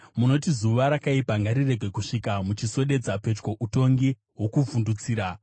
Munoti zuva rakaipa ngarirege kusvika muchiswededza pedyo utongi hwokuvhundutsira.